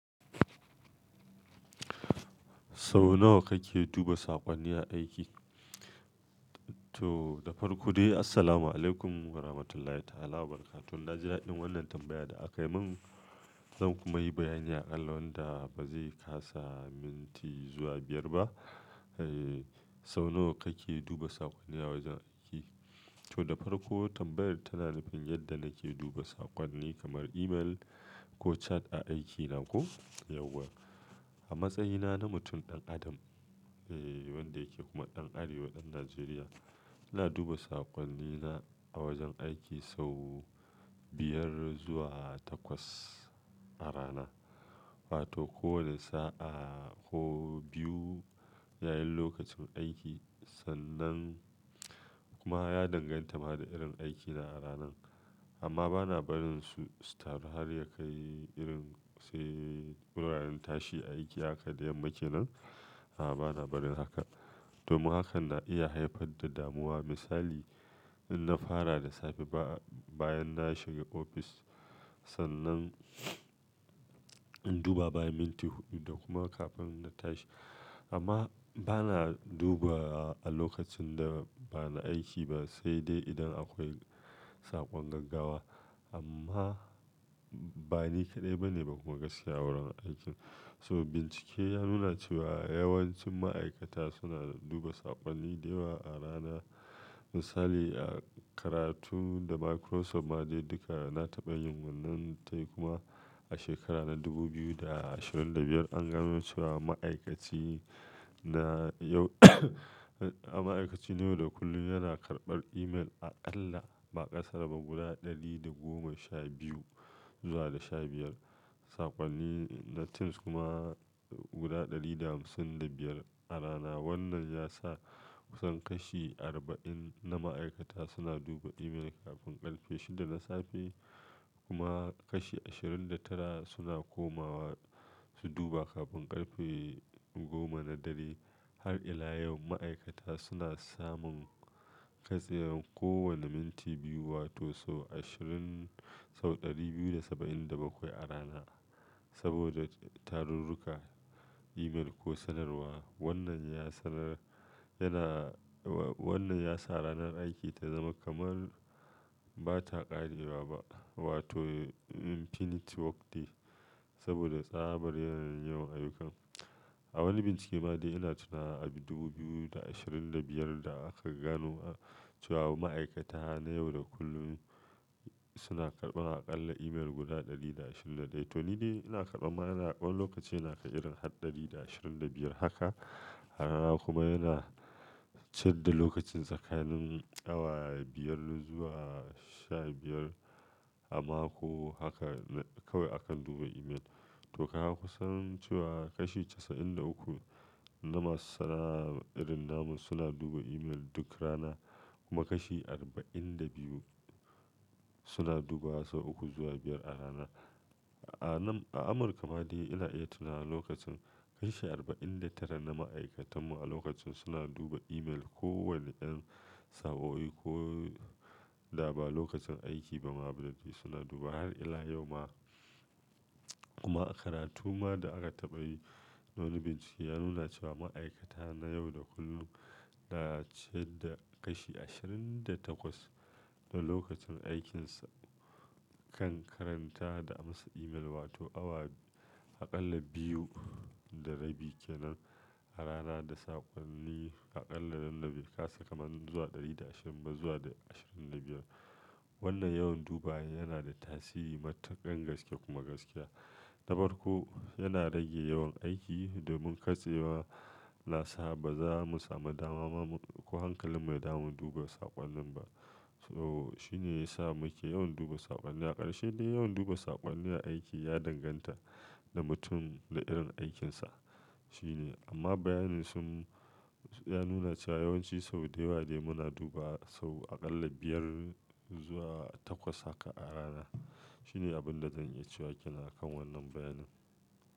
Sau nawa kake duba sakonni a aiki? To, da farko dai, assalamu alaikum warahmatullahi ta'ala wabarakatuh. Naji dadin wannan tambaya da akai min, zan kuma yi bayani a akalla wanda ba zai kasa minti zuwa biyar ba. Eh, sau nawa kake duba sakonni a wajen aiki? To, da farko tambayar tana nufin yadda nake duba sakonni kamar email ko chat a aikina ko? Yauwa. A matsayina na mutum ɗan adam, eh wanda yake kuma ɗan arewa ɗan Najeriya, ina duba sakonni na a wajen aiki sau biyar zuwa takwas a rana. Wato kowane sa'a ko biyu yayin lokacin aiki, sannan kuma ya danganta ma da irin aiki na a ranan. Amma ba na barin su, su taru har ya kai irin sai wuraren tashi aiki haka da yamma kenan. A'a, ba na barin haka. Domin hakan na iya haifar da damuwa. Misali, in na fara da safe bayan na shiga ofis, sannan in duba bayan minti huɗu da kuma kafin na tashi. Amma ba na duba a lokacin da ba na aiki ba sai dai idan akwai sakon gaggawa. Amma ba ni kaɗai ba ne ba kuma gaskiya wurin aikin. So bincike ya nuna cewa yawancin ma'aikata suna duba sakonni da yawa a rana. Misali, a karatu da Microsoft ma dai duka na taɓa yin wannan tayi kuma a shekara na dubu biyu da ashirin da biyar an gano cewa ma'aikaci na yau, ma'aikaci na yau da kullum yana karɓar email aƙalla ba aƙasari ba guda ɗari da sha biyu zuwa da sha biyar sakonni na Text kuma guda ɗari da hamsin da biyar a rana. Wannan ya sa kusan kashi arba'in na ma'aikata suna duba email kafin ƙarfe shida na safe kuma kashi ashirin da tara suna komawa su duba kafin ƙarfe goma na dare. Har ila yau ma'aikata suna samun katsewar kowane minti biyu wato sau ashirin sau 270 da bakwai a rana saboda tarurruka, email ko sanarwa. Wannan ya sanar, yana wa-wannan ya sa ranar aiki ta zama kamar ba ta ƙarewa ba wato infinity work day saboda tsabar yanayin yawan ayyukan. A wani bincike ma dai ina tunawa a dubu biyu da ashirin da biyar da aka gano cewa ma'aikata na yau da kullum suna karɓa aƙalla email guda ɗari ɗaya da ashirin da ɗaya. To ni dai ina karɓa mana wani lokacin yana kai irin har ɗari ɗaya da ashirin da biyar haka a rana kuma yana canza lokacin tsakanin awa biyar zuwa sha biyar a mako haka kawai akan duba email. To kaga kusan cewa kashi casa'in da uku na masu sana'a irin namu suna duba email duk rana kuma kashi arba'in da biyu suna dubawa sau uku zuwa biyar a rana. A nan a Amurka ma dai ina iya tunawa lokacin kashi arba'in da tara na ma'aikatan mu a lokacin suna duba email kowane ƴan sa'o'i ko da ba lokacin aiki ba ma ba laifi suna duba har ila yau ma. Kuma a karatu ma da aka taɓa yi, wani bincike ya nuna cewa ma'aikata na yau da kullum na ciyar da kashi ashirin da takwas na lokacin aikinsa kan karanta da amsa email wato awa aƙalla biyu da rabi kenan a rana da sakonni aƙalla nanda be kasa kamar zuwa ɗari ɗaya da ashirin ba zuwa da ashirin da biyar. Wannan yawan dubawan yana da tasiri matuƙan gaske kuma gaskiya. Da farko, yana rage yawan aiki domun katsewa na sa ba za mu sami dama ma mu, ko hankalin mu ya damu duba sakonnin ba. So shi ne ya sa muke yawan duba sakonni. A ƙarshe dai yawan duba sakonni a aiki ya danganta da mutum da irin aikinsa. Shi ne, amma bayanin sun, ya nuna cewa yawanci sau da yawa dai muna duba sau aƙalla biyar zuwa takwas haka a rana. Shi ne abin da zan iya cewa kenan a kan wannan bayanin.